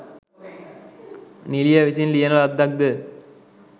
නිළිය විසින් ලියන ලද්දක්ද?